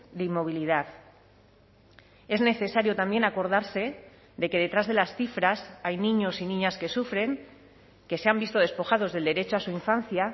de inmovilidad es necesario también acordarse de que detrás de las cifras hay niños y niñas que sufren que se han visto despojados del derecho a su infancia